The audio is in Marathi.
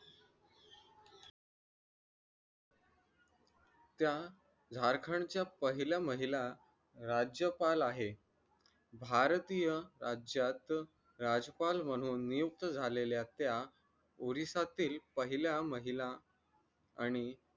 त्या झारखंडच्या पहिला महिला राज्यपाल आहे भारतीय राज्यात राजपाल म्हणून नियुक्त झालेल्या त्या odisha तील पहिला महिला आणि